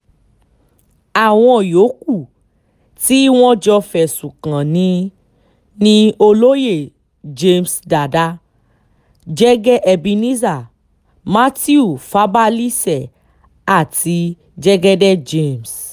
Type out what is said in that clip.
àwọn yòókù tí wọ́n jọ fẹ̀sùn kàn ní ni olóye james dada jẹ́gẹ́ ebenezer mathew fabalise àti jẹ́gẹ́dẹ́ james